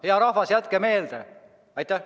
Hea rahvas, jätke meelde!